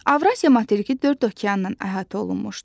Avrasiya materiki dörd okeanla əhatə olunmuşdu.